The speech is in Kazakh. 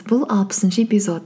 бұл алпысыншы эпизод